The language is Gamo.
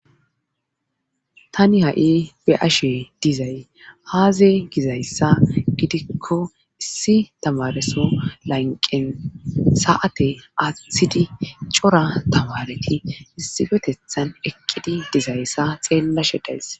tani ha7i be'ashe dizay haaze gizayssa gidikko issi tamareso lanqen sa7ate athidi cora tawareti issifetethan eqqidi dizayssa xeellashe days